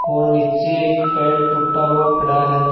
और नीचे एक पेड़ टूटा हुआ पड़ा है।